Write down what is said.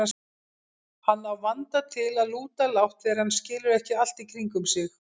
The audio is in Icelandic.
Hann á vanda til að lúta lágt þegar hann skilur ekki allt í kringum sig.